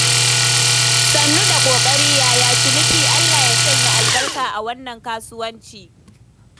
Sannu da ƙoƙari, yaya ciniki? Allah ya sanya albarka a wannan kasuwanci.